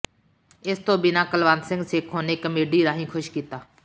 ਇਸ ਤੋਂ ਬਿਨਾਂ ਕੁਲਵੰਤ ਸੇਖੋਂ ਨੇ ਕਾਮੇਡੀ ਰਾਹੀਂ ਖੁਸ਼ ਕੀਤਾ